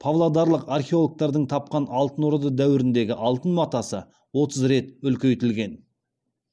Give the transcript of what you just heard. павлодарлық археологтардың тапқан алтын орда дәуіріндегі алтын матасы отыз рет үлкейтілген